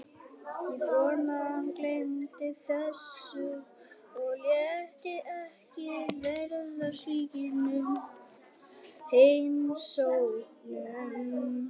Ég vonaði að hann gleymdi þessu og léti ekki verða af slíkum heimsóknum.